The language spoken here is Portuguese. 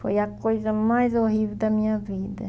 Foi a coisa mais horrível da minha vida.